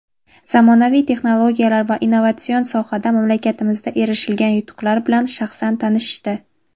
zamonaviy texnologiyalar va innovatsion sohada mamlakatimizda erilishgan yutuqlar bilan shaxsan tanishishdi.